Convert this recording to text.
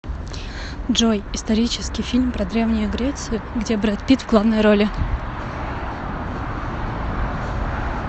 джой исторический фильм про древнюю грецию где брэд пит в главной роли